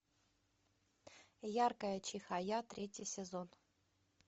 яркая чихая третий сезон